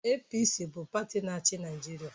APC bụ pati na-achị Naịjirịa